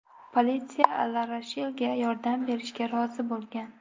Politsiya LaRoshelga yordam berishga rozi bo‘lgan.